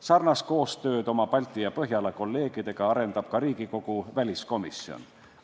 Sarnast koostööd oma Balti ja Põhjala kolleegidega arendab ka Riigikogu väliskomisjon.